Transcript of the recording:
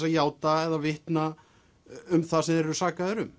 að játa eða vitna um það sem þeir eru sakaðir um